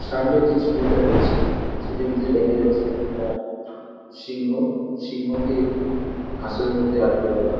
সামনের যে ছবিটা রয়েছে সেই ছবিতে দেখা যাচ্ছে একটি সিংহ। সিংহকে খাঁচার মধ্যে আটকে রাখা।